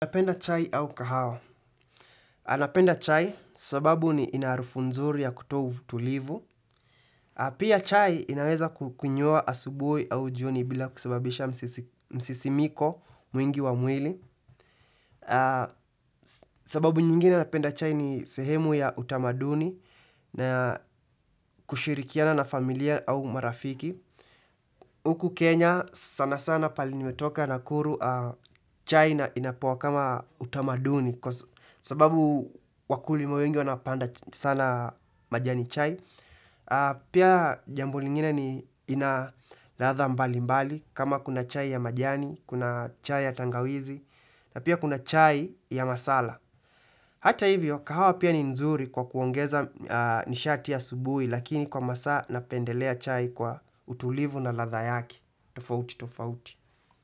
Anapenda chai au kahawa. Anapenda chai sababu ni inaharufu nzuri ya kutoa tulivu. Pia chai inaweza kukunywa asubuhi au jioni bila kusababisha msisimiko mwingi wa mwili. Sababu nyingine napenda chai ni sehemu ya utamaduni na kushirikiana na familia au marafiki. Huku Kenya sana sana pali nimetoka na nakuru chai na inakuwa kama utamaduni sababu wakulima wengi wanapanda sana majani chai. Pia jambo lingine ni inalatha mbali mbali kama kuna chai ya majani, kuna chai ya tangawizi na pia kuna chai ya masala. Hata hivyo, kahawa pia ni nzuri kwa kuongeza nishati asubuhi lakini kwa masaa napendelea chai kwa utulivu na latha yaki. Tofauti, tofauti.